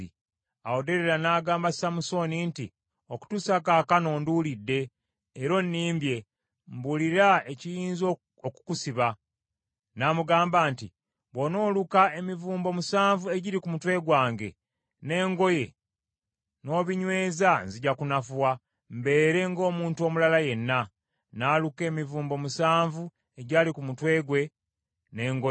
Awo Derira n’agamba Samusooni nti, “Okutuusa kaakano onduulidde era onnimbye. Mbuulira ekiyinza okukusiba.” N’amugamba nti, “Bw’onooluka emivumbo musanvu egiri ku mutwe gwange, n’engoye, n’obinyweza nzija kunafuwa, mbeere ng’omuntu omulala yenna.” N’aluka emivumbo omusanvu egy’ali ku mutwe gwe, n’engoye,